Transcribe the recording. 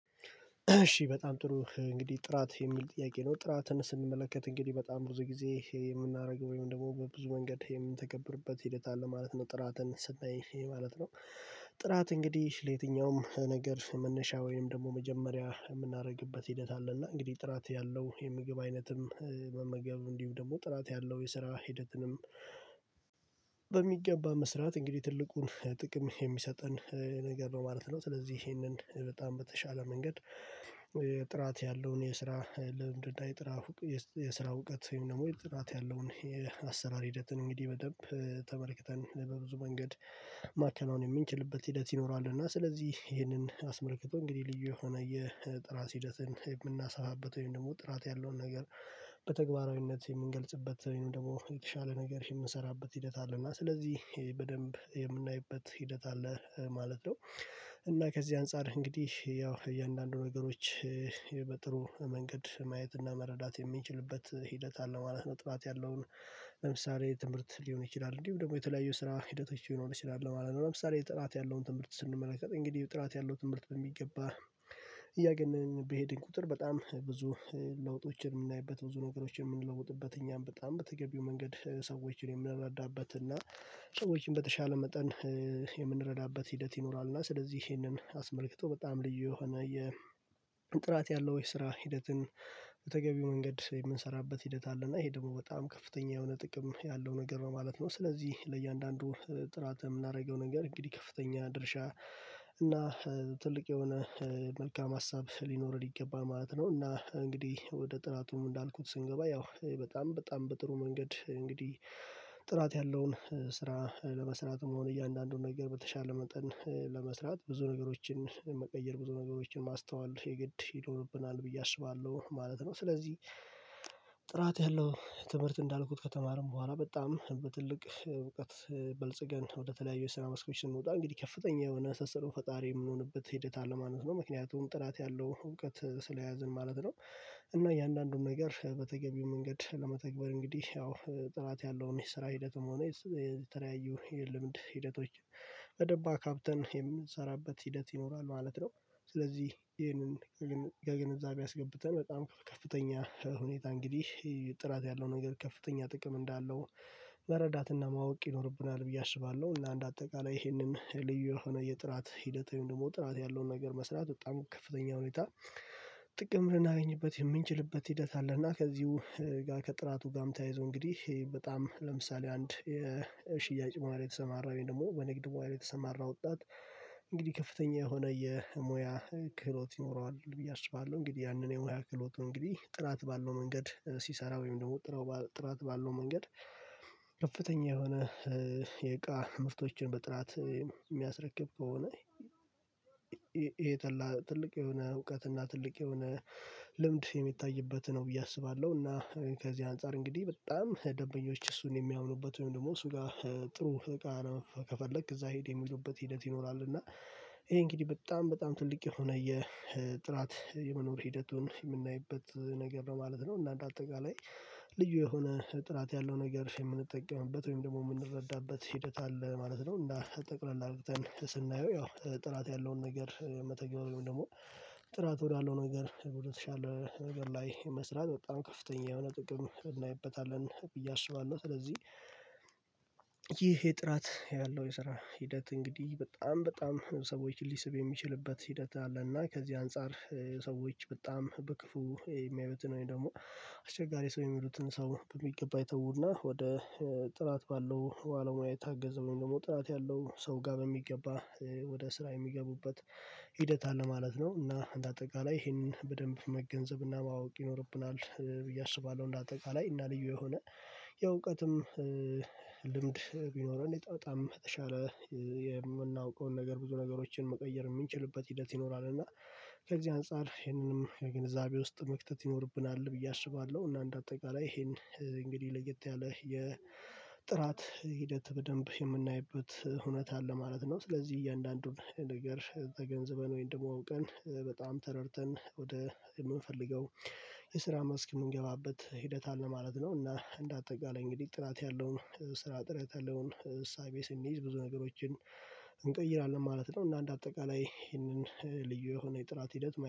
እሺ በጣም ጥሩ እንግዲህ፤ ጥራት የሚል ጥያቄ ነው ጥራትን ስንመለከት እንግዲህ በጣም ብዙ ጊዜ ይሄ የምናደርገው ወይም ደግሞ በብዙ መንገድ የምንተገብርበት ሂደት አለ ማለት ነው ጥራትን ስናይ ማለት ነው፤። ጥራት እንግዲህ ለየትኛውም ነገር መነሻ ወይም ደግሞ መጀመሪያ የምናደርግበት ሂደት አለ እንግዲህ ጥራት ያለው የምግብ አይነትም መመገብ እንዲሁ ደግሞ ጥራት ያለው የስራ ሂደትንም በሚገባ መስራት እንግዲህ ትልቁን ጥቅም የሚሰጠን ነገር ነው ማለት ነው። ስለዚህ ይሄንን በጣም በተሻለ መንገድ ጥራት ያለውን የስራ ልምድ እና የጥራት የስራ እውቀት ወይም ደግሞ የጥራት ያለውን የአሰራር ሂደትን እንግዲህ በደንብ ተመልክተን በብዙ መንገድ ማከናወን የምንችልበት ሂደት ይኖራል። እና ስለዚህ ይህንን አስመልክቶ እንግዲህ ልዩ የሆነ የጥራት ሂደትን የምናሰባበት ወይም ደግሞ ጥራት ያለውን ነገር በተግባራዊነት የምንገልጽበት ወይም ደግሞ የተሻለ ነገር የምንሰራበት ሂደት አለ እና ስለዚህ በደንብ የምናይበት ሂደት አለ ማለት ነው። እና ከዚህ አንፃር እንግዲህ ያው እያንዳንዱ ነገሮች በጥሩ መንገድ ማየትና መረዳት የምንችልበት ሂደት አለ ማለት ነው። ጥራት ያለውን ለምሳሌ ትምህርት ሊሆን ይችላል እንዲሁም ደግሞ የተለያዩ ስራ ሂደቶች ሊሆን ይችላል ማለት ነው። ለምሳሌ ጥራት ያለውን ትምህርት ስንመለከት እንግዲህ ጥራት ያለው ትምህርት በሚገባ እያገነን በሄድን ቁጥር በጣም ብዙ ለውጦችን የምናይበት ብዙ ነገሮችን የምንለውጥበት እኛም በጣም በተገቢው መንገድ ሰዎችን የምንረዳበት እና ሰዎችን በተሻለ መጠን የምንረዳበት ሂደት ይኖራል። እና ስለዚህ ይሄንን አስመልክቶ በጣም ልዩ የሆነ የ ጥራት ያለው የስራ ሂደትን በተገቢው መንገድ የምንሰራበት ሂደት አለ እና ይሄ ደግሞ በጣም ከፍተኛ የሆነ ጥቅም ያለው ነገር ማለት ነው። ስለዚህ ለእያንዳንዱ ጥራት የምናደርገው ነገር እንግዲህ ከፍተኛ ድርሻ እና ትልቅ የሆነ መልካም ሀሳብ ሊኖርን ይገባል ማለት ነው። እና እንግዲህ ወደ ጥራቱም እንዳልኩት ስንገባ ያው በጣም በጣም በጥሩ መንገድ እንግዲህ ጥራት ያለውን ስራ ለመስራት መሆን እያንዳንዱን ነገር በተሻለ መጠን ለመስራት ብዙ ነገሮችን መቀየር ብዙ ነገሮችን ማስተዋል የግድ ይኖርብናል ብዬ አስባለሁ ማለት ነው። ስለዚህ ጥራት ያለው ትምህርት እንዳልኩት ከተማርን በኋላ በጣም በትልቅ እውቀት በልጽገን ወደተለያዩ ስራ መስኮች ስንወጣ እንግዲህ ከፍተኛ የሆነ አንስተን ፈጣሪ የምንሆንበት ሂደት አለ ማለት ነው። ምክንያቱም ጥራት ያለው እውቀት ስለያዝን ማለት ነው እና የእያንዳንዱን ነገር በተገኘው መንገድ ለመተግበር እንግዲህ ያው ጥራት ያለውን የስራ ሂደትም ሆነ የተለያዩ የልምድ ሂደቶች በደንብ አካብተን የምንሰራበት ሂደት ይኖራል ማለት ነው። ስለዚህ ይህንን ይህን ግንዛቤ አስገብተን በጣም ከፍተኛ ሁኔታ እንግዲህ ጥራት ያለው ነገር ከፍተኛ ጥቅም እንዳለው መረዳት እና ማወቅ ይኖርብናል ብዬ አስባለሁ። እና እንደአጠቃላይ ይሄንን ልዩ የሆነ የጥራት ሂደቱ ደግሞ ጥራት ያለውን ነገር መስራት በጣም ከፍተኛ ሁኔታ ጥቅም ልናገኝበት የምንችልበት ሂደት አለ። እና ከዚሁ ጋር ከጥራቱ ጋም ተያይዞ እንግዲህ በጣም ለምሳሌ አንድ የሽያጭ ሙያ ላይ የተሰማራ ወይም ደግሞ በንግድ ሙያ ላይ የተሰማራ ወጣት እንግዲህ ከፍተኛ የሆነ የሙያ ክህሎት ይኖረዋል ብዬ አስባለሁ እንግዲህ ያንን የሙሃ ክሎቱ እንግዲህ ጥራት ባለው መንገድ ሲሰራ ወይም ደግሞ ጥራት ባለው መንገድ ከፍተኛ የሆነ የእቃ ምርቶችን በጥራት የሚያስረክብ ከሆነ ትልቅ የሆነ እውቀት እና ትልቅ የሆነ ልምድ የሚታይበት ነው ብዬ አስባለሁ። እና ከዚህ አንፃር እንግዲህ በጣም ደንበኞች እሱን የሚያምኑበት ወይም ደግሞ እሱ ጋር ጥሩ እቃ ነው ከፈለክ እዛ ሂድ የሚሉበት ሂደት ይኖራል እና ይሄ እንግዲህ በጣም በጣም ትልቅ የሆነ የጥራት የመኖር ሂደቱን የምናይበት ነገር ነው ማለት ነው። እና እንደ አጠቃላይ ልዩ የሆነ ጥራት ያለው ነገር የምንጠቀመበት ወይም ደግሞ የምንረዳበት ሂደት አለ ማለት ነው። እና ጠቅለል አርግተን ስናየው ያው ጥራት ያለውን ነገር መተግበር ወይም ደግሞ ጥራት ወዳለው ነገር ወደ ተሻለ ነገር ላይ መስራት በጣም ከፍተኛ የሆነ ጥቅም እናይበታለን ብዬ አስባለሁ። ስለዚህ የጥራት ያለው የስራ ሂደት እንግዲህ በጣም በጣም ሰዎችን ሊስብ የሚችልበት ሂደት አለና ከዚህ አንፃር ሰዎች በጣም በክፉ የሚያዩትን ወይም ደግሞ አስቸጋሪ ሰው የሚሉትን ሰው በሚገባ ይተውና ወደ ጥራት ባለው ባለሙያ የታገዘ ወይም ደግሞ ጥራት ያለው ሰው ጋር በሚገባ ወደ ስራ የሚገቡበት ሂደት አለ ማለት ነው። እና እንደ አጠቃላይ ይሄንን በደንብ መገንዘብ እና ማወቅ ይኖርብናል ብዬ አስባለሁ። እንደ አጠቃላይ እና ልዩ የሆነ የእውቀትም ልምድ ቢኖረን እኔ በጣም ተሻለ የምናውቀውን ነገር ብዙ ነገሮችን መቀየር የምንችልበት ሂደት ይኖራል። እና ከዚህ አንፃር ይህንንም የግንዛቤ ውስጥ መክተት ይኖርብናል ብዬ አስባለሁ። እና እንደ አጠቃላይ ይሄን እንግዲህ ለየት ያለ የጥራት ሂደት በደንብ የምናይበት እውነት አለ ማለት ነው። ስለዚህ እያንዳንዱን ነገር ተገንዝበን ወይም ደግሞ አውቀን በጣም ተረድተን ወደ የምንፈልገው የስራ መስክ የምንገባበት ሂደት አለ ማለት ነው። እና እንደ አጠቃላይ እንግዲህ ጥራት ያለውን ስራ ጥረት ያለውን እሳቤ ስንይዝ ብዙ ነገሮችን እንቀይራለን ማለት ነው። እና እንደአጠቃላይ ይሄንን ልዩ የሆነ የጥራት ሂደት